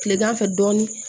Kilegan fɛ dɔɔnin